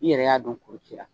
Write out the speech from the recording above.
I yɛrɛ y'a dɔn kuru cira